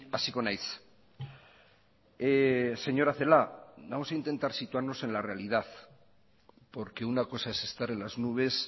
hasiko naiz señora celaá vamos a intentar situarnos en la realidad porque una cosa es estar en las nubes